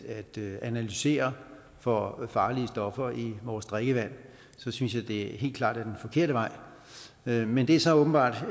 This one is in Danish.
analysere for farlige stoffer i vores drikkevand synes jeg helt klart det er den forkerte vej men men det er så åbenbart